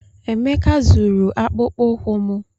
Emeka zụrụ akpụkpọ ụkwụ m.